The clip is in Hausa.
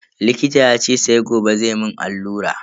Likita yace sai gobe zai mun allura.